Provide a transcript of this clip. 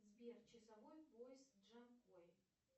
сбер часовой пояс джанкой